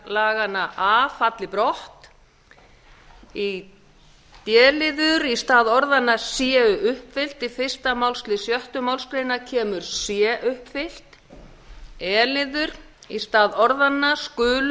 laganna a falli brott d í stað orðanna séu uppfyllt í fyrsta málsl sjöttu málsgrein kemur sé uppfyllt e í stað orðanna skulu